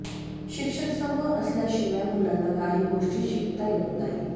शिक्षक समोर असल्याशिवाय मुलांना काही गोष्टी शिकता येत नाही